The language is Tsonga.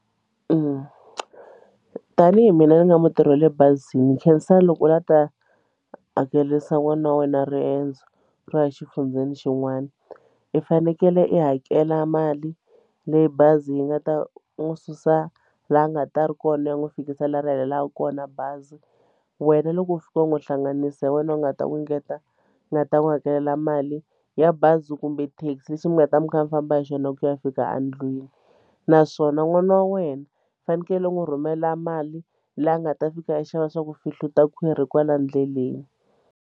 Tanihi mina ni nga mutirhi wa le bazini Khensani loko u lava ku ta hakerisa n'wana wa wena riendzo ra exifundzeni xin'wana i fanekele i hakela mali leyi bazi yi nga ta n'wi susa la a nga ta ri kona ya n'wi fikisa laha ri helelaka kona bazi wena loko u fika u n'wi hlanganisa hi wena u nga ta n'wi u nga ta n'wi hakelela mali ya bazi bazi kumbe thekisi lexi mi nga ta mi kha mi famba hi xona ku ya fika a ndlwini naswona n'wana wa wena fanekele n'wi rhumela mali laha nga ta fika a xava swa ku fihluta khwiri kwala ndleleni.